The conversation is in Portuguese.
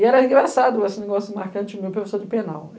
E era engraçado esse negócio marcante, meu professor de penal.